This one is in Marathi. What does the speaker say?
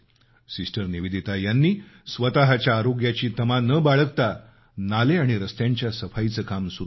सिस्टर निवेदिता यांनी स्वतःच्या आरोग्याची तमा न बाळगता नाले आणि रस्त्यांच्या सफाईचं काम सुरु केलं